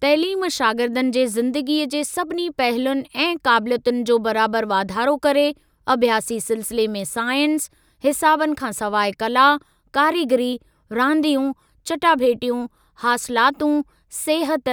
तइलीम शागिर्दनि जे ज़िदगीअ जे सभिनी पहलुनि ऐं काबिलियतुनि जो बराबर वाधारो करे, अभ्यासी सिलसिले में साइंस, हिसाबनि खां सवाइ कला, कारीगरी, रांदियूं, चटाभेटियूं, हासिलातूं, सिहत,